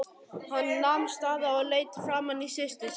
Hann nam staðar og leit framan í systur sína.